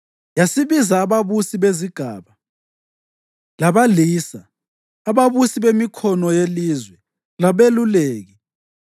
Yasibiza ababusi bezigaba, labalisa, ababusi bemikhono yelizwe, labeluleki,